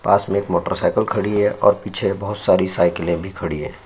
पास में एक motorcycle खड़ी है और पीछे बहुत सारी साइकिलें भी खड़ी है।